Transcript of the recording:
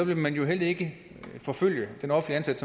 vil man jo heller ikke forfølge den offentligt